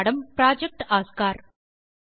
மூலப்பாடம் project Oscar